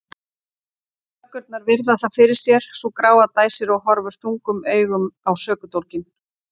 Löggurnar virða það fyrir sér, sú gráa dæsir og horfir þungum augum á sökudólginn.